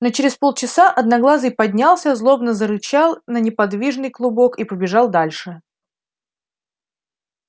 но через полчаса одноглазый поднялся злобно зарычал на неподвижный клубок и побежал дальше